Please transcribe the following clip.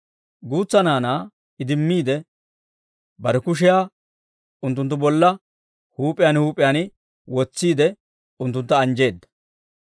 Guutsa naanaa idimmiide, bare kushiyaa unttunttu bolla huup'iyaan huup'iyaan wotsiide, unttuntta anjjeedda.